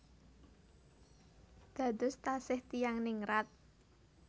Dados taksih tiyang ningrat